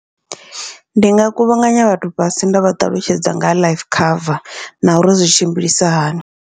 Ndi nga kuvhanganya vhathu fhasi nda vha ṱalutshedza nga ha life cover, na uri zwi tshimbilisa hani.